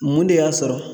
Mun de y'a sɔrɔ